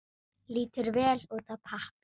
Lítur vel út á pappír.